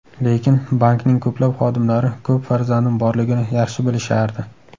Lekin bankning ko‘plab xodimlari ko‘p farzandim borligini yaxshi bilishardi.